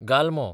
गालमो